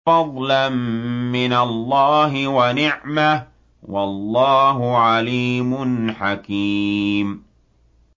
فَضْلًا مِّنَ اللَّهِ وَنِعْمَةً ۚ وَاللَّهُ عَلِيمٌ حَكِيمٌ